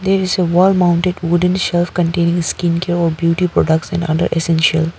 There is a wall mounted wooden shelf containing skin care or beauty products and other essential.